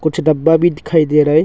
डब्बा भी दिखाई दे रहा है।